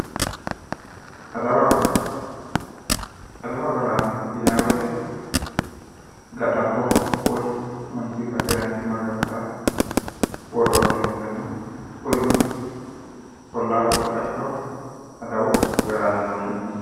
Adawu agaraano, adawu agaraano yinayi woyite ga'labbo woyi manchuyita keeraanchimma agartara worroonnire ikkitanna kurino ollaaho ikko qachaho adawu agaraano yine woshshinanni.